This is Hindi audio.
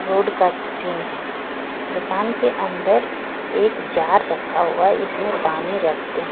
रोड का सीन है दुकान के अंदर एक जार रखा हुआ जीसमें पानी रखते--